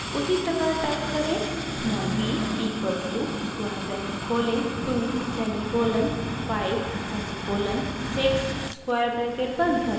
उसी प्रकार टाइप करें : small b equals to square bracket खोलें 2 सेमीकोलन 5 सेमीकोलन 6 स्क्वायर ब्रैकेट बंद करें